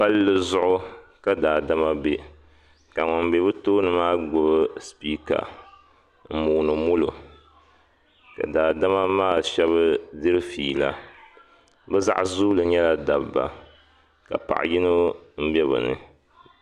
Palli zuɣu ka daadama be ka ŋun be bɛ tooni maa gbubu sipiika m-mooni molo ka daadama maa shɛba diri fiila bɛ ban zooi nyɛla dabba ka paɣ’yino be bɛ ni